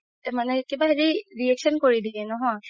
মানে কিবা হেৰি কিবা reaction কৰি দিয়ে নহয়